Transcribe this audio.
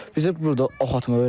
Biz burda oxatma öyrəndik.